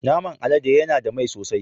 Naman alade yana da mai sosai.